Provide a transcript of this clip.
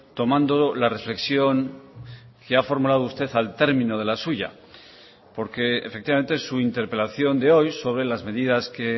tomando la reflexión que ha formulado usted al término de la suya porque efectivamente su interpelación de hoy sobre las medidas que